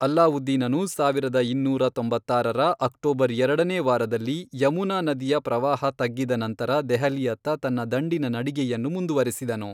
ಅಲ್ಲಾವುದ್ದೀನನು ಸಾವಿರದ ಇನ್ನೂರ ತೊಂಬತ್ತಾರರ ಅಕ್ಟೋಬರ್ ಎರಡನೇ ವಾರದಲ್ಲಿ ಯಮುನಾ ನದಿಯ ಪ್ರವಾಹ ತಗ್ಗಿದ ನಂತರ ದೆಹಲಿಯತ್ತ ತನ್ನ ದಂಡಿನ ನಡಿಗೆಯನ್ನು ಮುಂದುವರಿಸಿದನು.